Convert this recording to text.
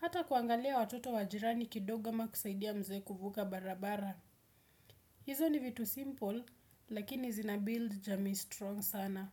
Hata kuangalia watoto wa jirani kidogo ama kusaidia mzee kuvuka barabara. Hizo ni vitu simple, lakini zinabiuld jamii strong sana.